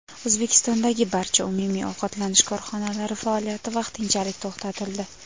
O‘zbekistondagi barcha umumiy ovqatlanish korxonalari faoliyati vaqtinchalik to‘xtatildi.